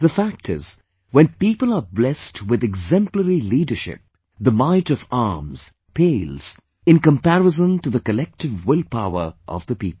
The fact is, when people are blessed with exemplary leadership, the might of arms pales in comparison to the collective will power of the people